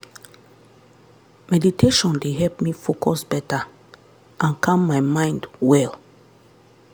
meditation dey help me focus better and calm my mind well.